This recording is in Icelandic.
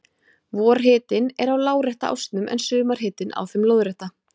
Vorhitinn er á lárétta ásnum en sumarhitinn á þeim lóðrétta.